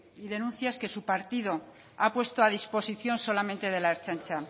y denuncias que su partido ha puesto a disposición solamente de la ertzaintza